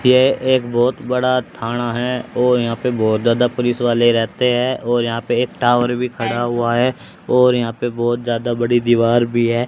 ये एक बहोत बड़ा थाना है और यहां पे बहोत ज्यादा पुलिस वाले रहते हैं और यहां पे एक टावर भी खड़ा हुआ है और यहां पे बहोत ज्यादा बड़ी दीवार भी है।